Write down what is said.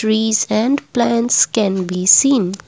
trees and plants can be seen.